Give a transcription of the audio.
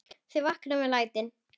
Þau vakna við lætin.